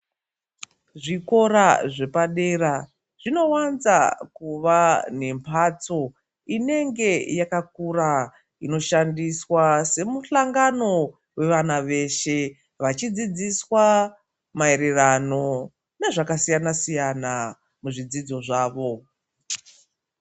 Zvikora zvepadera zvinovanza kuva nemhatso inenge yakakura. Inoshandiswa semuhlangano vevana veshe vachidzidziswa maererano nezvakasiyana-siyana, muzvidzidzo zvavo.